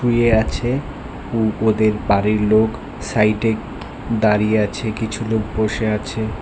শুয়ে আছে উম ওদের বাড়ির লোক সাইডে দাঁড়িয়ে আছে কিছু লোক বসে আছে।